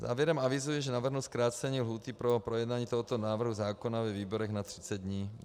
Závěrem avizuji, že navrhnu zkrácení lhůty pro projednání tohoto návrhu zákona ve výborech na 30 dní.